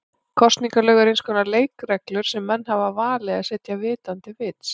Kosningalög eru eins konar leikreglur sem menn hafa valið að setja vitandi vits.